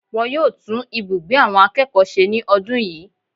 Wọn yóò tún ibùgbé àwọn akẹ́kọ̀ọ́ se ní ọdún yìí